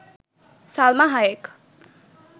Salma Hayek